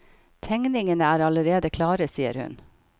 Tegningene er allerede klare, sier hun.